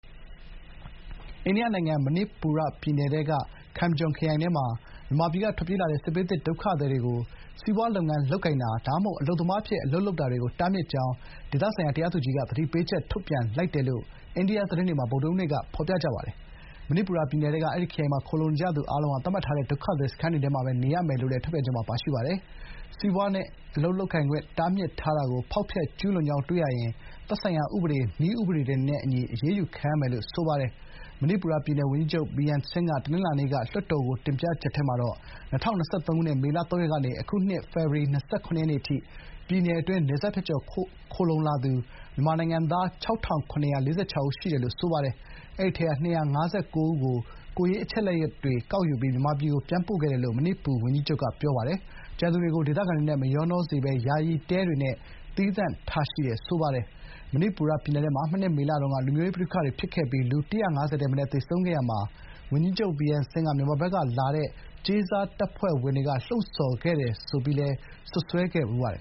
အိန္ဒိယနိုင်ငံ မဏိပူရပြည်နယ်ထဲက Kamjong ခရိုင်ထဲမှာ မြန်မာပြည်က ထွက်ပြေးလာတဲ့ စစ်ဘေးသင့်ဒုက္ခသည်တွေကို စီးပွားလုပ်ငန်းလုပ်ကိုင်တာ ဒါမှမဟုတ် အလုပ်သမားအဖြစ် အလုပ်လုပ်တာတွေကို တားမြစ် ကြောင်း ဒေသတရားသူကြီးက သတိပေးချက် ထုတ်ပြန်လိုက်တယ်လို့ အိန္ဒိယသတင်းတွေမှာ ဗုဒ္ဓဟူးနေ့က ဖော်ပြပါတယ်။ ချင်းပြည်နယ်၊ စစ်ကိုင်းတိုင်းတွေနဲ့ နယ်နိမိတ်ချင်းထိစပ်နေတဲ့ မဏိပူရပြည်နယ်ထဲက အဲဒီ ခရိုင်မှာ ခိုလှုံနေကြသူအားလုံးဟာ သတ်မှတ်ထားတဲ့ ဒုက္ခသည်စခန်းတွေထဲမှာပဲနေရမယ်လို့လည်း ထုတ်ပြန်ချက်မှာ ပါရှိပါတယ်။ စီးပွားနဲ့ အလုပ်လုပ်ခွင့် တားမြစ်ထားတာကို ဖောက်ဖျက်ကျူးလွန်ကြောင်းတွေ့ရှိရင် သက်ဆိုင်ရာ ဥပဒေ၊ နည်းဥပဒေတွေနဲ့အညီ အရေးယူခံရမယ်လို့လည်း ဖော်ပြထားပါတယ်။ မဏိပူရ ပြည်နယ် ဝန်ကြီးချုပ် ဗီရမ် ဆင်း (Biren Singh) က ပြီးခဲ့တဲ့တနင်္လာနေ့က လွှတ်တော်ကို တင်ပြချက်ထဲမှာ ၂၀၂၃ ခုနှစ် မေလ ၃ ရက်နေ့ကနေ အခုနှစ် ဖေဖော်ဝါရီ ၂၇ ရက် နေ့အထိ ပြည်နယ်အတွင်း တရားမဝင် နယ်စပ်ဖြတ်ကျော် ခိုလှုံလာသူ မြန်မာနိုင်ငံသား ၆,၇၄၆ ဦး ရှိတယ်လို့ ဆိုပါတယ်။ အဲဒီထဲက မြန်မာနိုင်ငံသား ၂၅၉ ဦးကို ကိုယ်ရေးအချက်အလက်တွေကောက်ယူပြီး မြန်မာပြည်ဘက်ကို ပြန်ပို့ခဲ့တယ်လို့ မဏိပူဝန်ကြီးချုပ်က ပြောပါတယ်။ ကျန်သူတွေကို ဒေသခံတွေနဲ့ မရောနှောစေဘဲ ယာယီတဲတွေနဲ့သီးသန့်ထားရှိတယ်လို့ ဆိုပါတယ်။ မဏိပူရပြည်နယ်ထဲမှာ မနှစ် မေလတုန်းက လူမျိုးရေးပဋိပက္ခတွေဖြစ်ခဲ့ပြီး လူ ၁၅၀ ထက်မနည်းသေဆုံးခဲ့ရာမှာ ဝန်ကြီးချုပ် ဗီရမ် ဆင်း က မြန်မာနိုင်ငံဘက်ကလာတဲ့ “ကြေးစားတပ်ဖွဲ့ဝင်တွေ” က မငြိမ်မသက်ဖြစ်အောင် လှုံ့ဆော်ခဲ့တယ်-ဆိုပြီး စွပ်စွဲခဲ့ဖူးပါတယ်